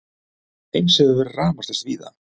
Eins hefur verið rafmagnslaust víða